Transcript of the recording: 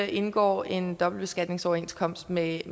indgår en dobbeltbeskatningsoverenskomst med et